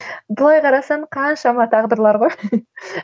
былай қарасаң қаншама тағдырлар ғой